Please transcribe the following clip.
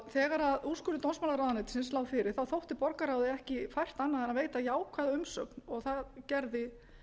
þegar úrskurður dómsmálaráðuneytisins lá fyrir þótti borgarráði ekki fært annað en að veita jákvæða umsögn og það gerði